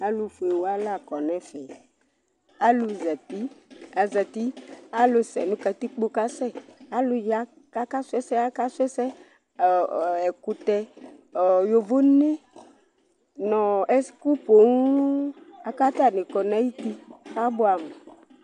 Alʋfue wa la kɔ nʋ ɛfɛ Alʋzati azati, alʋsɛ nʋ katikpo kasɛ, alʋya kʋ akasʋ ɛsɛ kasʋ ɛsɛ Ɔ ɔ ɛkʋtɛ, ɔ yovone nʋ ɛkʋ poo la kʋ atanɩ kɔ nʋ ayuti kʋ abʋɛamʋ